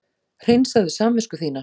Hreinsaðu samvisku þína!